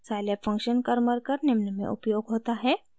scilab function karmarkar निम्न में उपयोग होता है: